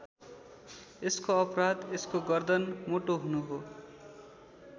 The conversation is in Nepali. यसको अपराध यसको गर्दन मोटो हुनु हो।